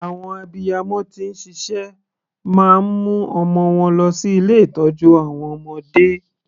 Àwọn abiyamọ tí ń ṣiṣẹ́ máa ń mu ọmọ wọn lọ sí ilé ìtọ́jú àwọn ọmọdé.